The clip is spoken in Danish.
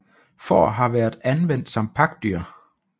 Får har været anvendt som pakdyr